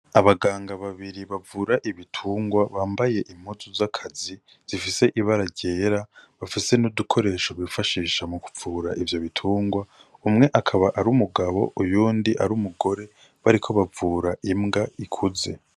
Abaganga babiri bavura ibitungwa bambaye imuzu z'akazi zifise ibara ryera bafise n'udukoresho bifashisha mu kupfura ivyo bitungwa umwe akaba ari umugabo uyundi ari umugore bariko bavura imbwa ikuze.